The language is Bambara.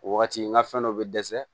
O wagati n ka fɛn dɔ bɛ dɛsɛ